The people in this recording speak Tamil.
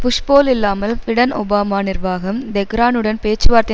புஷ் போல் இல்லாமல் பிடென் ஒபாமா நிர்வாகம் தெஹ்ரானுடன் பேச்சுவார்த்தை